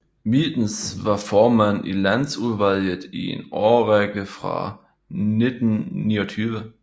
Mitens var formand i Landsudvalget i en årrække fra 1929